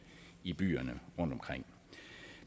i byerne rundtomkring